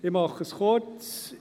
Ich mache es kurz.